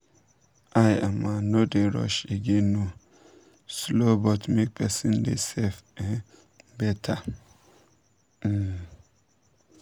i um no dey rush again o— slow but make person dey safe dey um better. um